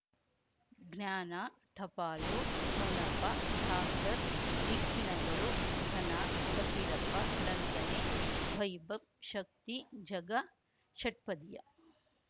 ಜ್ಞಾನ ಟಪಾಲು ಠೊಣಪ ಡಾಕ್ಟರ್ ಢಿಕ್ಕಿ ಣಗಳು ಧನ ಫಕೀರಪ್ಪ ಳಂತಾನೆ ವೈಭವ್ ಶಕ್ತಿ ಝಗಾ ಷಟ್ಪದಿಯ